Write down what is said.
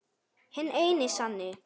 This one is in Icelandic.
Hinn eini sanni!